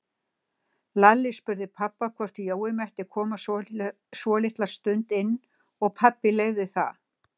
Lalli spurði pabba hvort Jói mætti koma svolitla stund inn og pabbi leyfði það.